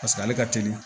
Paseke ale ka teli